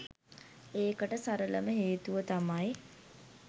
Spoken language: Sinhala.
ඒකට සරලම හේතුව තමයි